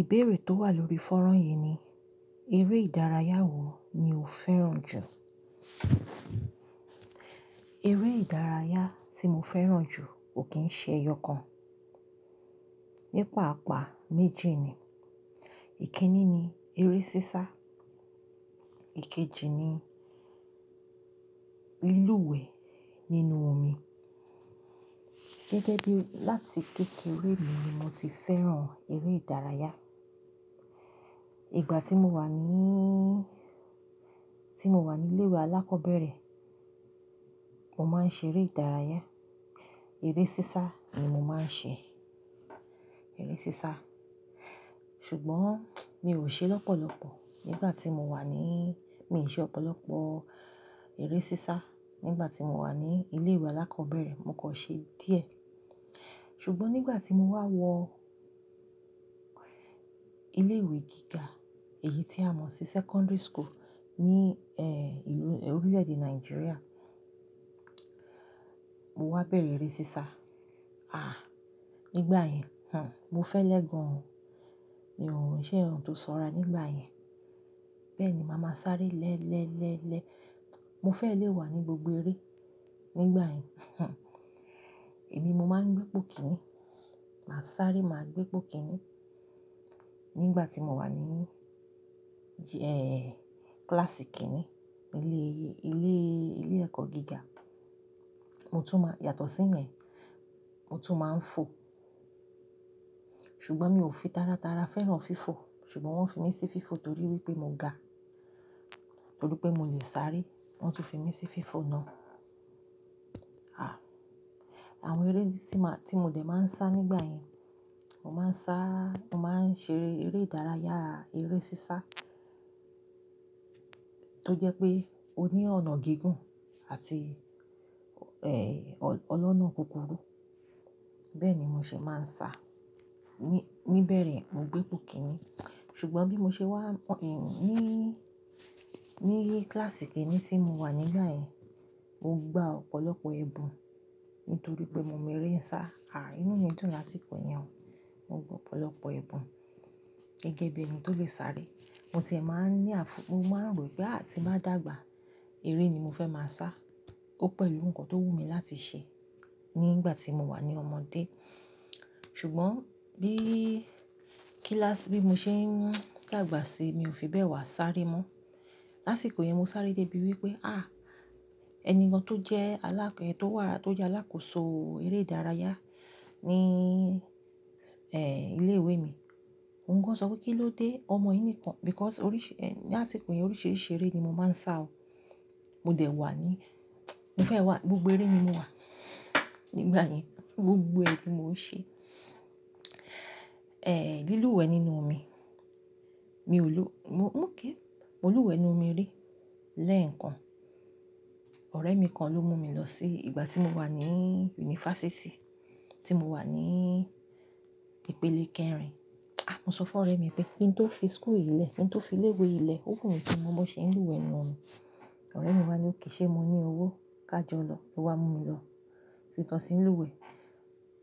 Ìbéèrè tó wà lórí fọ́rán yìí ni, eré ìdárayá wo ni o fẹ́ràn jù? Eré ìdárayá tí mo fẹ́ràn jù kò kí ń ṣe ẹyọ kan. Ní paapaa méjì ni. Ìkíní ni eré sísá, ìkejì ni lílúwẹ̀ẹ nínú omi. Gẹ́gẹ́ bí láti kékeré mi ni mo ti fẹ́ràn eré ìdárayá. Ìgbà tí mo wà níí, tí mo wà ní ilé ìwé alákọ̀ọ́bẹ̀rẹ̀, mo máa ń ṣe eré ìdárayá. Eré sísá ni mo máa ń ṣe. Eré sísá. Ṣùgbọ́n mi ò ṣe lọ́pọ̀lọ́pọ̀ nígbà tí mo wà níí, mi ò ṣe ọ̀pọ̀lọpọ̀ eré sísá nígbà tí mo wà ní ilé ìwé alákọ̀ọ́bẹ̀rẹ̀, mo kan ṣe díẹ̀. Ṣùgbọ́n nígbà tí mo wá wọ ilé ìwé gíga, èyí tí a mọ̀ sí secondary school ní, ìlú-- Orílẹ̀-èdè Nàìjíríà, mo wá bẹ̀rẹ̀ eré sísá. Nígbà yẹn, mo fẹ́lẹ́ gan-an. Mi ò ń ṣe ohun tó ṣọ́ra nígbà yẹn. Bẹ́ẹ̀ ni màá máa sáré lẹ́ẹ́lẹ́ẹ́lẹ́. Mo fẹ́ lè wà ní gbogbo eré nígbà yẹn Èmi mo máa ń gbé ipò kíní. Màá sáré, màá gbé ipò kíní. Nígbà tí mo wà ní, kíláàsì kìnní ilé, ilé, ilé ẹ̀kọ́ gíga. Mo tún má-- yàtọ̀ sí yẹn, mo tún máa ń fo. Ṣùgbọ́n mi ò fi tára tára fẹ́ràn fífọ̀. Ṣùgbọ́n wọ́n fi mí sí fífọ̀ torí wípé mo ga. Torí pé mo le sáré, wọ́n tun fi mí sí fífọ̀ náà. Àwọn eré tí má, tí mo dẹ̀ máa ń sá nígbà yẹn, mo máa ń sá, mo máa ń ṣe eré ìdárayá, eré sísá tó jẹ́ pé o ní ọ̀nà gígùn àti, ọlọ́nà kúkúrú. Bẹ́ẹ̀ ni mo ṣe máa ń sá. Ni, níbẹ̀rẹ̀ mo gbé ipò kíní. Ṣùgbọ́n bí mo ṣe wá, níí, ní kíláàsì kìnní tí mo wà nígbà yẹn, mo gbá ọ̀pọ̀lọpọ̀ ẹ̀bùn nítorí pé mo mọ eré sá. Inú mi dùn lásìkò yẹn o. Mo gbọ́ ọ̀pọ̀lọpọ̀ ẹ̀bùn gẹ́gẹ́ bí ẹni tó lè sáré. Mo ti ẹ máa ń ní àfú, mo máa ń rò pé ti n bá dàgbà, eré ni mo fẹ́ máa sá. Ó pẹ̀lú nnkan tó wù mí láti ṣe nígbà tí mo wà ní ọmọdé. Ṣùgbọ́n bí kíláàsì, bí mo ṣe ń dàgbà sí, mi ò fi bẹ́ẹ̀ wá sáré mọ́. Lásìkò yẹn mo sáré débi wípé, àh! Ẹni kan tó jẹ́ alá-- tó wà, tó jẹ́ alákòóso eré ìdárayá ní, ilé ìwé mi, òun gan sọ pé kí ló dé ọmọ yìí nìkan? Because oríṣì-- lásìkò yẹn oríṣìíríṣìí eré ni mo máa ń sá o. Mo dẹ̀ wà ní, mo fẹ́ wà ní gbogbo eré ní mo wà. Nígbà yẹn gbogbo ni mo ń ṣe. Lílúwẹ̀ẹ́ nínú omi. Mi ò lo-- mo, mo kí, mo lúwẹ̀ẹ́ n nú omi rí lẹ́ẹ̀kan. Ọ̀rẹ́ mi kan ló mú mi lọ sí-- ìgbà tí mo wà ní yunifásítì, tí mo wà ní ìpele kẹrin. Mo sọ fún ọ̀rẹ́ mi pé kí n tó fi school ìlẹ̀, kí n tó fi ilé ìwé ìlẹ̀, ó wù mí ki n mo bọ́n ṣe n lúwẹ̀ẹ́ nínú omi. Ọ̀rẹ́ mi wá ní òk, ṣé mo ní owó ká jọ lọ. Ó wá mú mi lọ sí ìbi tàn sí lúwẹ̀ẹ́.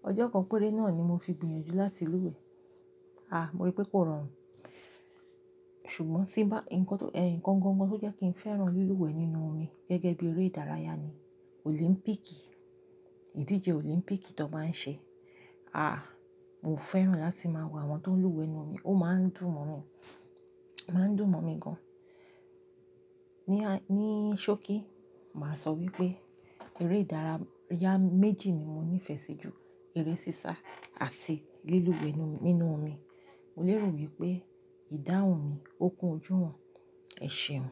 Ọjọ́ kan péré náà ni mo fi gbìyànjú láti lúwẹ̀ẹ́. Mo rí pé kò rọrùn. Ṣùgbọ́n tí ń bá, nǹkan tó, nǹkan gan gan tó jẹ́ kí n fẹ́ràn lílúwẹ̀ẹ́ nínú omi gẹ́gẹ́ bí eré ìdárayá ni Olimpíìkì. Ìdíje Olimpíìkì tó máa ń ṣe. Àh! Mo fẹ́ràn láti máa wo àwọn tó ń lúwẹ̀ẹ́ nínú omi. Ó máa ń dùn mọ́ mi. Máa ń dùn mọ́ mi gan-an. Ni, ní ṣókí, màá sọ wípé eré ìdárayá méjì ni mo ní ìfẹ́ sí ju. Eré sísá àti lílúwẹ̀ẹ́ nínú, nínú omi. Mo lè rò wípé ìdáhùn mi ó kún ojú wọn. Ẹ ṣeun.